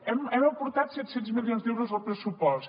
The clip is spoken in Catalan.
hem aportat set cents milions d’euros al pressupost